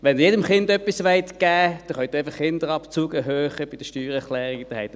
Wenn Sie jedem Kind etwas geben wollen, können Sie einfach den Kinderabzug bei der Steuererklärung erhöhen.